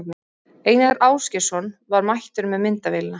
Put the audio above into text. Einar Ásgeirsson var mættur með myndavélina.